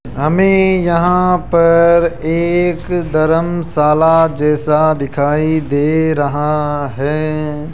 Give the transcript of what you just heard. हमें यहां पर एक धरमशाला जैसा दिखाई दे रहा है।